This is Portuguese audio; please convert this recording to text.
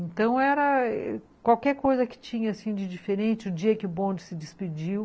Então, era qualquer coisa que tinha assim de diferente, o dia que o bonde se despediu,